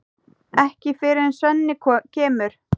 Ekki fyrr en Svenni kemur.